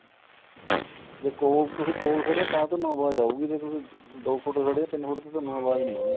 ਦੇਖੋ ਤੁਸੀਂ ਕੋਲ ਖਦੇ ਓ ਤਾਂ ਤੁਹਾਨੂੰ ਆਵਾਜ ਆਉਗੀ ਜੇ ਤੁਸੀਂ ਦੋ ਫੂਟ ਖੜੇ ਓ ਤਿੰਨ ਫੂਟ ਤੇ ਤੁਹਾਨੂੰ ਆਵਾਜ ਨੀਂ ਆਉਣੀ